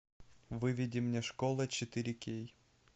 выведи мне школа четыре кей